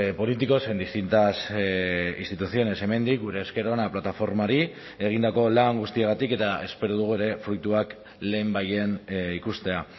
políticos en distintas instituciones hemendik gure esker ona plataformari egindako lan guztiagatik eta espero dugu ere fruituak lehenbailehen ikustea